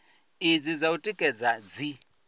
idzi dza u tikedza dzi